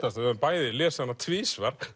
höfðum bæði lesið hana tvisvar